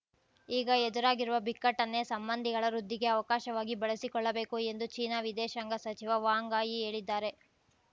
ಈಗ ಎದುರಾಗಿರುವ ಬಿಕ್ಕಟ್ಟನ್ನೇ ಸಂಬಂಧಿಗಳ ವೃದ್ಧಿಗೆ ಅವಕಾಶವಾಗಿ ಬಳಸಿಕೊಳ್ಳಬೇಕು ಎಂದು ಚೀನಾ ವಿದೇಶಾಂಗ ಸಚಿವ ವಾಂಗ್ ಆಯಿ ಹೇಳಿದ್ದಾರೆ